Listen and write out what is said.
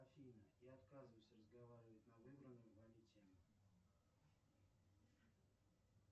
афина я отказываюсь разговаривать на выбранную вами тему